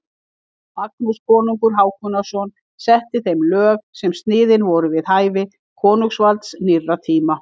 Magnús konungur Hákonarson setti þeim lög sem sniðin voru við hæfi konungsvalds nýrra tíma.